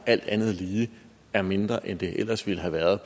alt andet lige er mindre end det ellers ville have været